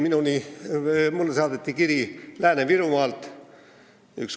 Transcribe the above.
Mulle saadeti kiri Lääne-Virumaalt.